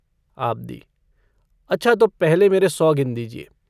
आबदी अच्छा तो पहले मेरे सौ गिन दीजिए।